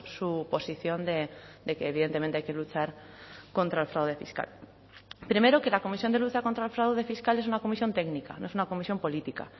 su posición de que evidentemente hay que luchar contra el fraude fiscal primero que la comisión de lucha contra el fraude fiscal es una comisión técnica no es una comisión política